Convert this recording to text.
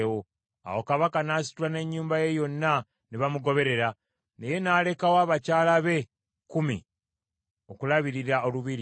Awo Kabaka n’asitula n’ennyumba ye yonna ne bamugoberera, naye n’alekawo abakyala be kkumi okulabirira olubiri.